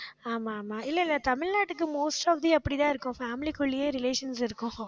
ஆமா, ஆமா இல்லை இல்லை தமிழ்நாட்டுக்கு most of the அப்படித்தான் இருக்கும் family க்குள்ளேயே relations இருக்கும்.